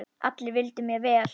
Allir vildu mér vel.